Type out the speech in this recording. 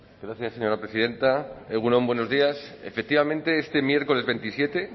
gracias señora presidenta egun on buenos días efectivamente este miércoles veintisiete